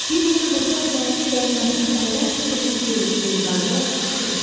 Bir neçə qoçaq zəngi qənimətin əldən çıxdığını görüb geri qayıdaraq qışqırırdı.